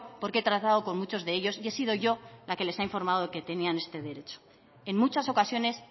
porque he tratado con muchos de ellos y he sido yo la que les ha informado de que tenían este derecho en muchas ocasiones